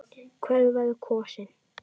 Hver verður kosinn?